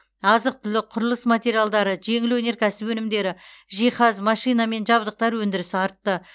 азық түлік құрылыс материалдары жеңіл өнеркәсіп өнімдері жиһаз машина мен жабдықтар өндірісі артты